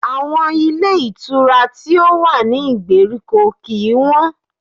Àwọn ilé ìtura tí ó wà ní ìgbèríko kìí wọ́n.